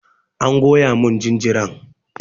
An goya mun jinjiran.